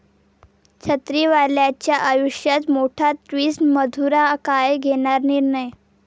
छत्रीवालीच्या आयुष्यात मोठा ट्विस्ट, मधुरा काय घेणार निर्णय?